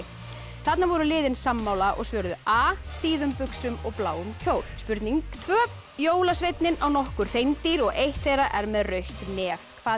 þarna voru liðin sammála og svöruðu a síðum buxum og bláum kjól spurning tvö jólasveinninn á nokkur hreindýr og eitt þeirra er með rautt nef hvað